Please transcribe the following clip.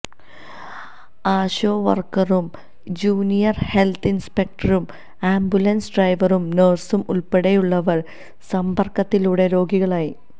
ആശാ വർക്കറും junior health ഇൻസ്പെക്ടറും ambulance ഡ്രൈവറും നഴ്സും ഉൾപ്പടെയുള്ളവർ സമ്പർക്കത്തിലൂടെ രോഗികളായി